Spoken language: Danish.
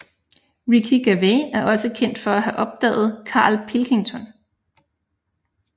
Ricky Gervais er også kendt for at have opdaget Karl Pilkington